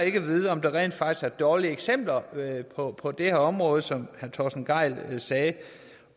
ikke vide om der rent faktisk er dårlige eksempler på på det her område som herre torsten gejl sagde